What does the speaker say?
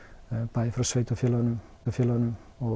bæði frá sveitarfélögunum og